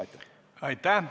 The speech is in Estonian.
Aitäh!